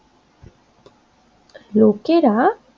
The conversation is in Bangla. লোকেরা